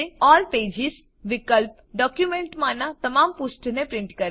all pages વિકલ્પ ડોક્યુંમેંટમાંનાં તમામ પુષ્ઠ ને પ્રીંટ કરે છે